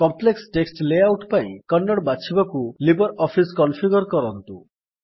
complex text layout ପାଇଁ କନ୍ନଡ ବାଛିବାକୁ LibreOffice configure କରନ୍ତୁ